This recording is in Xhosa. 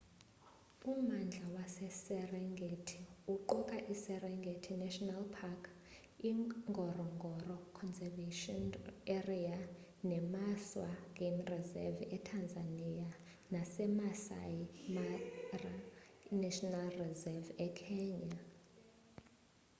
ummandla weserengeti uquka i-serengeti national park ingorongoro conservation area nemaswa game reserve etanzania nasemaasai mara national reserve ekenya